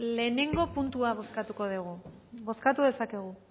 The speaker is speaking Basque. lehengo puntua bozkatuko dugu bozkatu dezakegu